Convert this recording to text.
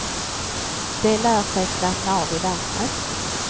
De lär sig slappna av i vattnet.